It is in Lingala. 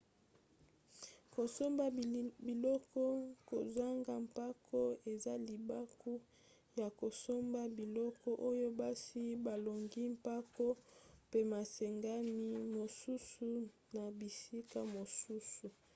kosomba biloko kozanga mpako eza libaku ya kosomba biloko oyo basi balongoli mpako pe masengami mosusu na bisika mosusu